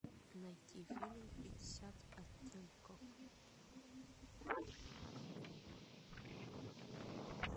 найти фильм пятьдесят оттенков